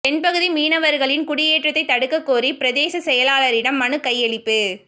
தென்பகுதி மீனவர்களின் குடியேற்றத்தை தடுக்க கோரி பிரதேச செயலாளரிடம் மனு கையளிப்பு